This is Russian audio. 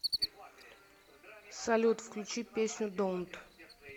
салют включи песню донт